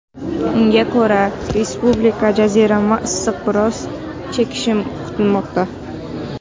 Unga ko‘ra, respublikada jazirama issiq biroz chekinishi kutilmoqda.